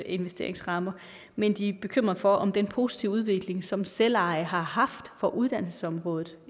investeringsrammer men de er bekymrede for om den positive udvikling som selveje har haft på uddannelsesområdet